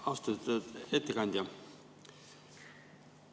Austatud ettekandja!